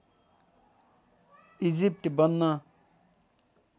Egypt बन्न